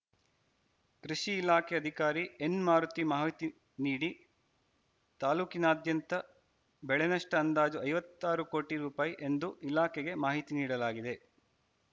ಕೃಷಿ ಇಲಾಖೆ ಅಧಿಕಾರಿ ಎನ್‌ಮಾರುತಿ ಮಾಹಿತಿ ನೀಡಿ ತಾಲೂಕಿನಾದ್ಯಂತ ಬೆಳೆನಷ್ಟಅಂದಾಜು ಐವತ್ತಾರು ಕೋಟಿ ರೂಪಾಯಿ ಎಂದು ಇಲಾಖೆಗೆ ಮಾಹಿತಿ ನೀಡಲಾಗಿದೆ